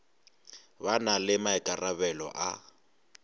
ba na le maikarabelo a